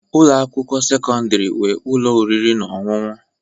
Ụlọ akwụkwọ sekọndrị nwere ụlọ oriri na ọṅụṅụ